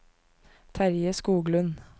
Terje Skoglund